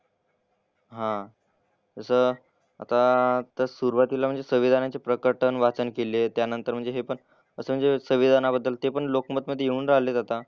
हां. तसं आता तर सुरुवातीला म्हणजे संविधानाचे प्रकटन वाचन केले. त्यानंतर म्हणजे हे पण असं म्हणजे संविधानाबद्दल ते पण लोकमतमधे येऊन राहिलेत आता.